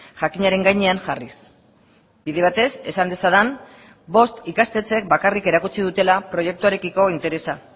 jakinaren gainean jarriz bide batez esan dezadan bost ikastetxek bakarrik erakutsi dutela proiektuarekiko interesa